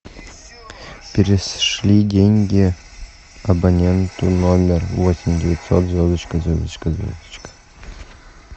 перешли деньги абоненту номер восемь девятьсот звездочка звездочка звездочка